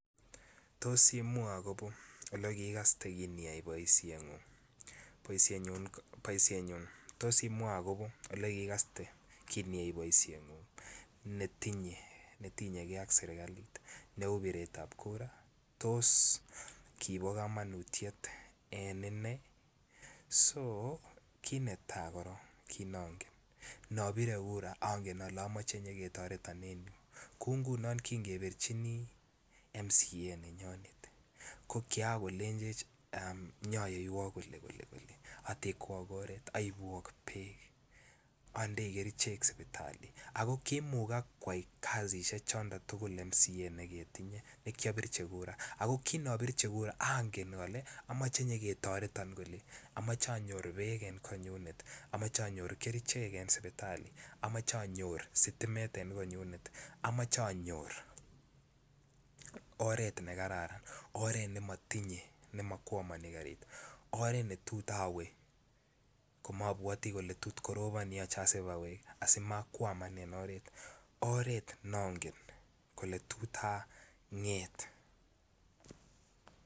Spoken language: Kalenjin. Tos imwa kinikaste kiniyai boishet tos imwa akobo olekikaste kiniyai boishen ngun netinye gei ak serikalit beret tab Kura tos kibo komonutite en inai kit netai korong kit nongen nobire Kura ongen ale amoche nyon ketoreton Kou ngunon kinobirchin MCA nenyonet ko Kian kolenjech anyoiwok koleekole atekwok oret aubuok bek Andi kerchek sipitali kimukag koyai kasishek choton tukul MCA noton nikipirvhi Kura ako kinopirchi Kura ko ongen Kole amoche nyoketoreton Kole amoche onyor bek amoche anyor bek en sipitali amoche anyor sitimet en konyunet amoche onyor oret nekararan oret nemokwomoni karit aren't betut awe komobwoti aletot Korobon asimakwaman en oret oret nongen eletot anget